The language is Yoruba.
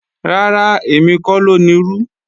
Rárá, èmi kọ́ ló nirú